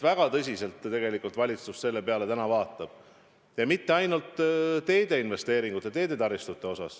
Väga tõsiselt tegelikult valitsus selle peale täna vaatab ja mitte ainult teede investeeringuid, teedetaristuid.